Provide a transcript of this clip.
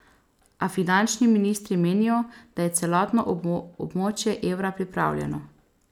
A finančni ministri menijo, da je celotno območje evra pripravljeno.